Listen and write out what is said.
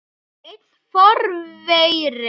Einn forveri